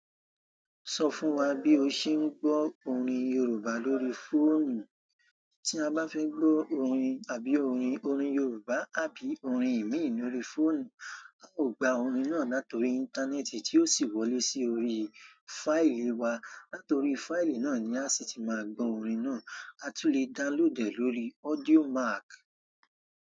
Sọ fún wa bí o ṣe ń gbọ́ orin Yorùbá lórí fóònù. Tí a bá fẹ́ gbọ́ orin àbí orin, orin Yorùbá àbí orin ẹ̀mí lórí fóònù, a ó gba orin náà nítorí íńtánẹ́ẹ̀tì tí ó sì wọlé sí orí fáìlì wa. Latorí fáìlì náà ni a sì ti máa gbọ́ orin náà. A tún lè download e lórí Audio Mack.